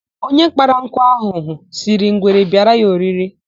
Onye kpara nkụ ahụhụ, sịrị ngwere bịara ya oriri.